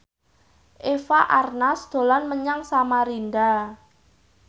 Eva Arnaz dolan menyang Samarinda